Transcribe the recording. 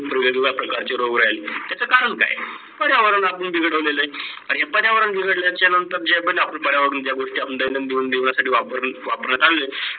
पर्यावरण आपलेलं बिघडलेलं आहे. आणी पर्यावरण बिघडलेलं चा नंतर जे पण आपण पर्यावरणची गोष्टी आपल्या दे दिनदीन दिवनासाठी वापरत वापरतो, आले वेग वेगड्या प्रकारचे रोग राहिले त्याचे करण काही आहे?